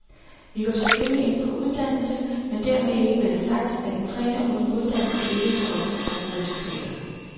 Vi går selvfølgelig ind for uddannelse, men dermed ikke være sagt, at en træner uden uddannelse ikke kan opnå gode resultater.